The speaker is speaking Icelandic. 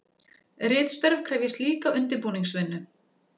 Ritstörf krefjast líka undirbúningsvinnu.